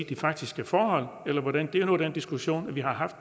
de faktiske forhold det er jo den diskussion vi har haft